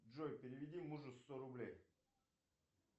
джой переведи мужу сто рублей